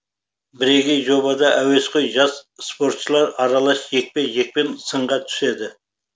бірегей жобада әуесқой жас спортшылар аралас жекпе жекпен сынға түседі